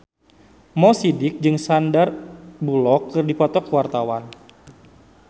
Mo Sidik jeung Sandar Bullock keur dipoto ku wartawan